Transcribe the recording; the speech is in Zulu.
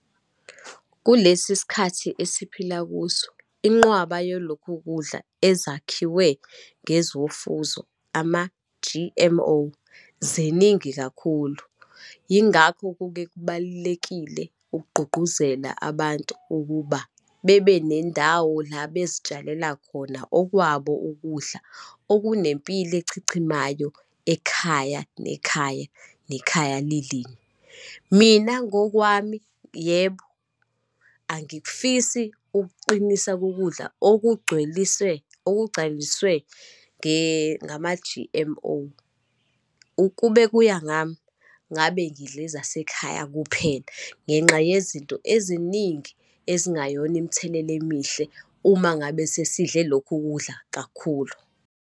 Kulesi sikhathi esiphila kuso, inqwaba yolokhu kudla ezakhiwe ngezofuzo ama-G_M_O, ziningi kakhulu. Yingakho kuke kubalulekile ukugqugquzela abantu ukuba bebe nendawo la bezitshalela khona okwabo ukudla, okunempilo echichimayo ekhaya, nekhaya, nekhaya lilinye. Mina ngokwami yebo, angikufisi ukuqinisa kokudla okugcweliswe, okugcaliswe nge, ngama-G_M_O. Ukube kuya ngami, ngabe ngidla ezasekhaya kuphela ngenxa yezinto eziningi ezingayona imithelela emihle uma ngabe sesidle lokhu kudla kakhulu.